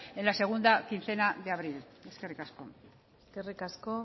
en la segunda quincena de abril eskerrik asko eskerrik asko